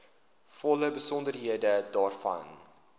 volle besonderhede daarvan